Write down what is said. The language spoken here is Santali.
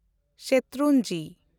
ᱥᱮᱴᱨᱩᱱᱡᱤ